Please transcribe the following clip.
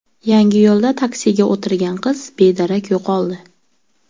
Yangiyo‘lda taksiga o‘tirgan qiz bedarak yo‘qoldi.